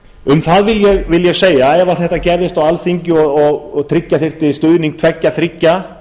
um það vil ég segja að ef þetta gerðist á alþingi og tryggja þyrfti stuðning tveggja þriggja